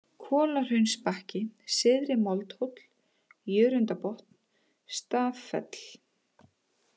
Kolahraunsbakki, Syðri-Moldhóll, Jörundarbotn, Staffell